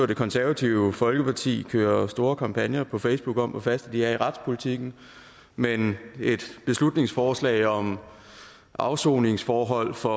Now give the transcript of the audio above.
det konservative folkeparti kører store kampagner på facebook om hvor faste de er i retspolitikken men et beslutningsforslag om afsoningsforhold for